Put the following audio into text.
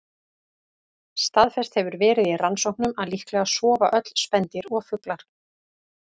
Staðfest hefur verið í rannsóknum að líklega sofa öll spendýr og fuglar.